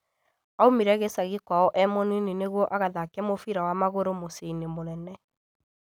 Aumire gĩcagi kwao e mũnini nĩguo agathake mũbira wa magũrũ mũciĩ-inĩ mũnene